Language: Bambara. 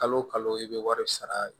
Kalo o kalo i bɛ wari sara